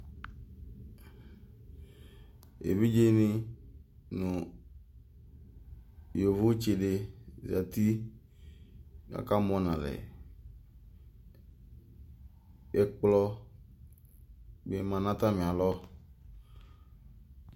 Evidzeni nʋ yovotsi di zati k'aka mɔ n'alɛ Ɛkplɔ bi ma n'atami alɔ